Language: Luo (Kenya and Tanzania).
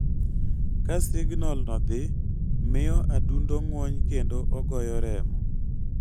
Ka signalno dhi, miyo adundo ng'wony kendo ogoyo remo.